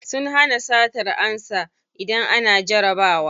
Sun hana satar ansa idan ana jarabawa.